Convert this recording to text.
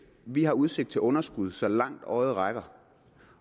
vi har udsigt til underskud så langt øjet rækker